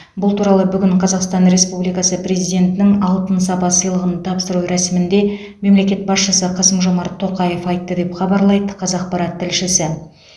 бұл туралы бүгін қазақстан республикасы президентінің алтын сапа сыйлығын тапсыру рәсімінде мемлекет басшысы қасым жомарт тоқаев айтты деп хабарлайды қазақпарат тілшісі